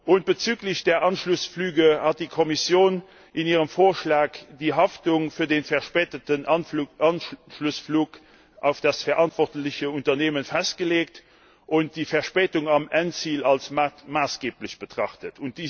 Und bezüglich der Anschlussflüge hat die Kommission in ihrem Vorschlag die Haftung für den verspäteten Anschlussflug auf das verantwortliche Unternehmen festgelegt und die Verspätung am Endziel als maßgeblich betrachtet.